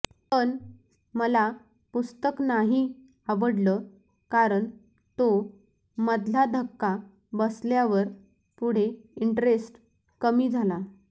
पण मला पुस्तक नाही आवडलं कारण तो मधला धक्का बसल्यावर पुढे इंटरेस्ट कमी झाला